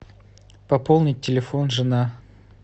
пополнить телефон жена